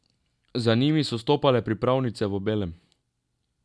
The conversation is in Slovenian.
Za njimi so stopale pripravnice v belem.